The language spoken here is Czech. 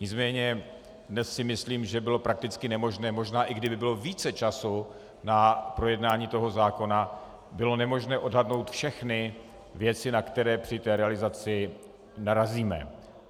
Nicméně dnes si myslím, že bylo prakticky nemožné, možná i kdyby bylo více času na projednání toho zákona, bylo nemožné odhadnout všechny věci, na které při té realizaci narazíme.